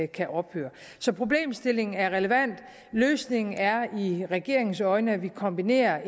kan ophøre så problemstillingen er relevant løsningen er i regeringens øjne at vi kombinerer